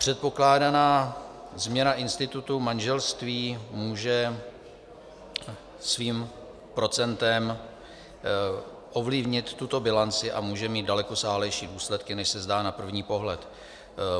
Předpokládaná změna institutu manželství může svým procentem ovlivnit tuto bilanci a může mít dalekosáhlejší důsledky, než se zdá na první pohled.